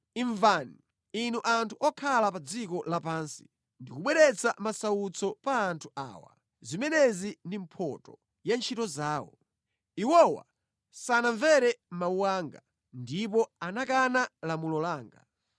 Imvani, inu anthu okhala pa dziko lapansi, ndikubweretsa masautso pa anthu awa. Zimenezi ndi mphotho ya ntchito zawo. Iwowa sanamvere mawu anga ndipo anakana lamulo langa.